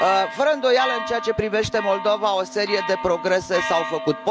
Fără îndoială, în ceea ce privește Moldova, o serie de progrese s au făcut.